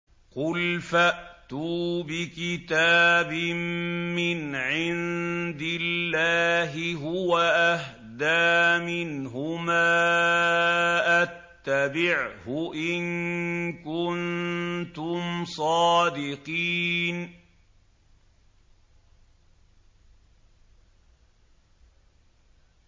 قُلْ فَأْتُوا بِكِتَابٍ مِّنْ عِندِ اللَّهِ هُوَ أَهْدَىٰ مِنْهُمَا أَتَّبِعْهُ إِن كُنتُمْ صَادِقِينَ